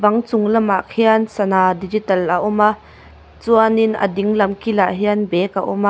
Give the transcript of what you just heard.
bang chung lam ah khian sana digital a awm a chuanin a ding lam kil ah hian bag a awm a.